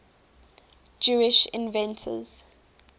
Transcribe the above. jewish inventors